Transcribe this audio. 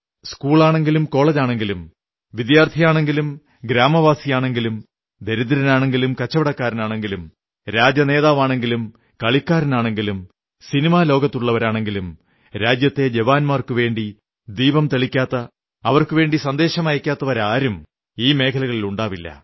സ്കൂളാണെങ്കിലും കോളജാണെങ്കിലും വിദ്യാർഥിയാണെങ്കിലും ഗ്രാമമാണെങ്കിലും ദരിദ്രനാണെങ്കിലും കച്ചവടക്കാരനാണെങ്കിലും കടക്കാരനാണെങ്കിലും രാഷ്ട്രീയ നേതാവാണെങ്കിലും കളിക്കാരനാണെങ്കിലും സിനിമാലോകത്തുള്ളവരാണെങ്കിലും രാജ്യത്തെ ജവാന്മാർക്കുവേണ്ടി ദീപം തെളിക്കാത്ത അവർക്കു വേണ്ടി സന്ദേശമയയ്ക്കാത്തവരാരും ഈ മേഖലകളിലുണ്ടാവില്ല